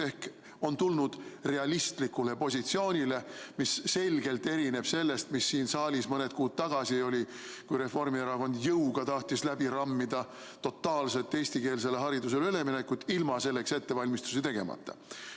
Ehk on tuldud realistlikule positsioonile, mis selgelt erineb sellest, mis siin saalis mõned kuud tagasi oli, kui Reformierakond jõuga tahtis läbi rammida totaalset eestikeelsele haridusele üleminekut, ilma selleks ettevalmistusi tegemata.